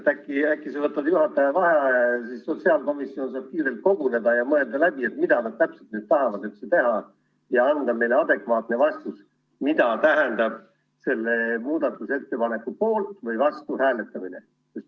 Äkki sa võtad juhataja vaheaja, et sotsiaalkomisjon saaks kiirelt koguneda ja mõelda läbi, mida ikkagi nad täpselt tahavad teha, ja anda meile adekvaatne vastus, mida tähendab selle muudatusettepaneku poolt või vastu hääletamine?